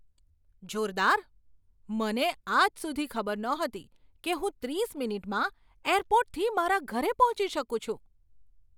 જોરદાર! મને આજ સુધી ખબર નહોતી કે હું ત્રીસ મિનિટમાં એરપોર્ટથી મારા ઘરે પહોંચી શકું છું.